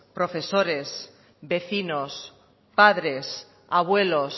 profesores vecinos padres abuelos